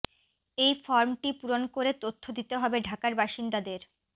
এই ফর্মটি পূরণ করে তথ্য দিতে হবে ঢাকার বাসিন্দাদের